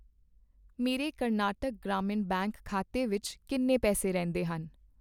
ਮੇਰੇ ਕਰਨਾਟਕ ਗ੍ਰਾਮੀਣ ਬੈਂਕ ਖਾਤੇ ਵਿੱਚ ਕਿੰਨੇ ਪੈਸੇ ਰਹਿੰਦੇ ਹਨ?